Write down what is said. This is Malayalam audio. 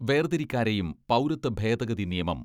വേർതിരിക്കാരെയും പൗരത്വ ഭേദഗതി നിയമം